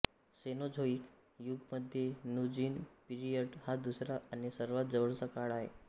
Cenozoic युगमध्ये Neogene period हा दुसरा आणि सर्वात जवळचा काळ आहे